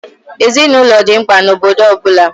Ezinaụlọ dị mkpa na obodo ọ bụla.